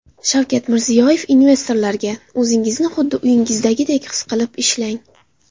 Shavkat Mirziyoyev investorlarga: O‘zingizni xuddi uyingizdagidek his qilib ishlang .